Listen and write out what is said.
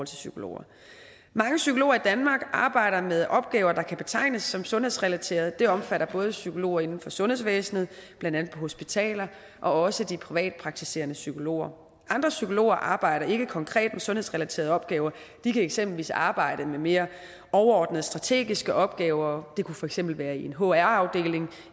psykologer mange psykologer i danmark arbejder med opgaver der kan betegnes som sundhedsrelaterede det omfatter både psykologer inden for sundhedsvæsenet blandt andet på hospitaler og også de privatpraktiserende psykologer andre psykologer arbejde ikke konkret med sundhedsrelaterede opgaver de kan eksempelvis arbejde med mere overordnede strategiske opgaver det kunne for eksempel være i en hr afdeling